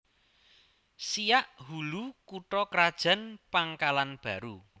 Siak Hulu kutha krajan Pangkalanbaru